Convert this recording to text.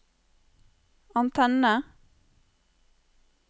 antenne